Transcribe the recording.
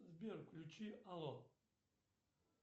сбер включи алло